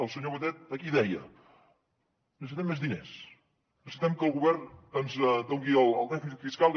el senyor batet aquí deia necessitem més diners necessitem que el govern ens doni el dèficit fiscal que